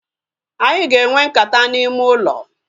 Anyị ga enwe nkata n'ime ụlọ